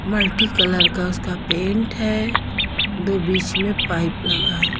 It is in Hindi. मल्टीकलर का उसका पेंट है दो बीच में पाइप लगा है।